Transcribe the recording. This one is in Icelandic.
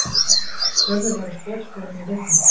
Sölvi var á skotskónum í leiknum.